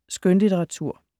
Skønlitteratur